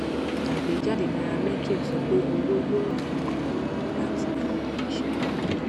àgbéjáde nairametrics sọ pé owó yóò ràn ìpìlẹ lọwọ láti gbòòrò iṣẹ